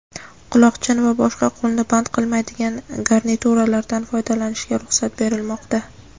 quloqchin va boshqa qo‘lni band qilmaydigan garnituralardan foydalanishga ruxsat berilmoqda.